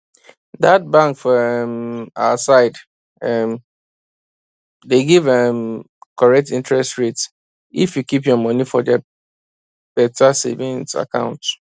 that bank for um our side um dey give um correct interest rate if you keep your money for their better savings account